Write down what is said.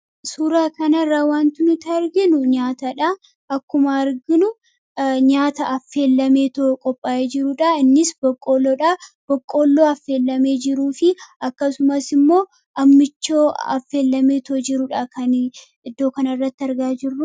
Suuraa kanarraa wanti nuti arginu nyaatadha. Akkuma arginu nyaata affeellameetoo qophaa'ee jirudha. Innis boqqolloodha. Boqoolloo affeelamee jiru fi akkasumas immoo Ammichoo affeelamee jirudha kan argaa jirru.